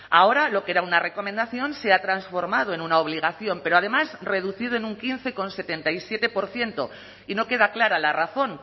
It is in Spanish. ahora lo que era una recomendación se ha transformado en una obligación pero además reducido en un quince coma setenta y siete por ciento y no queda clara la razón